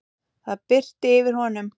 Það birti yfir honum.